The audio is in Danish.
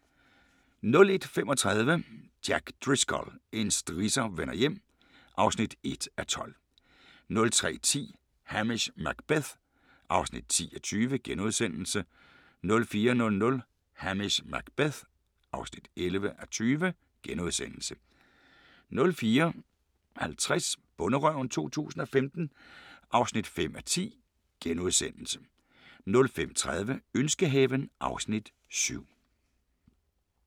01:35: Jack Driscoll – en strisser vender hjem (1:12) 03:10: Hamish Macbeth (10:20)* 04:00: Hamish Macbeth (11:20)* 04:50: Bonderøven 2015 (5:10)* 05:30: Ønskehaven (Afs. 7)